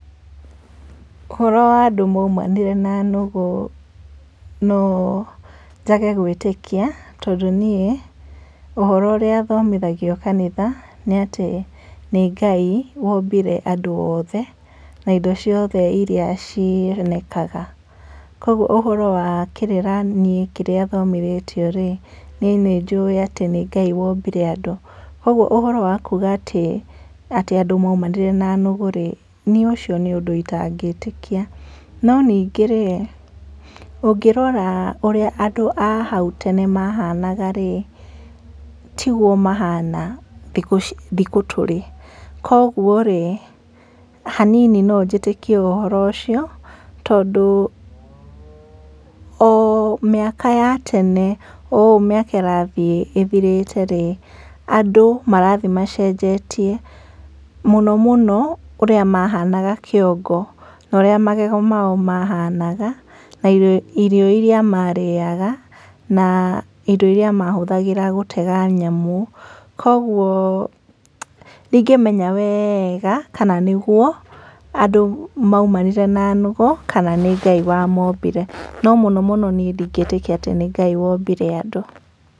Ũhoro wa andũ maumanire na nũgũ, no njage gwĩtĩkia tondũ niĩ ũhoro ũrĩa thomithagio kanitha, nĩ atĩ nĩ Ngai wombire andũ othe, na indo ciothe iria cionekaga. Kohwo ũhoro wa kĩrĩra nĩ kĩrĩa thomithĩtio rĩ niĩ nĩ njũĩ atĩ nĩ Ngai wombire andũ. Kogwo ũhoro wa kuga atĩ andũ amũmanire na nũgũ rĩ, nĩ ucio nĩ undũ itangĩtĩkia.No ningĨ rĩ ũngĩrora ũria andũ ahau tene mahanaga rĩ ,tigwo mahana thikũ tũrĩ. Kogwo rĩ hanini no njĩtĩkie ũhoro ũcio tondũ o mĩaka ya tene ,o ũũ miaka irathiĩ ĩthirĩte rĩ andũ marathiĩ macenjetie, muno muno ũrĩa mahanaga kiongo, na ũrĩa magego mao mahanaga na irio iria marĩaga na indo iria mahũthagĩra gutega nyamu. Kogwo ndingĩmenya wega kana nĩ gũo andũ maumanire na nũgũ kana nĩ Ngai wa mombire.No muno muno niĩ nĩ Ngai wombire andũ.